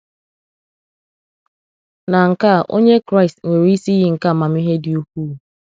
Na nke à onye Kraịst nwere isi iyi nke amamihe dị ukwuu.